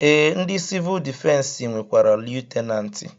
Ee ndị sivuul difensi nwekwara Liyutenanti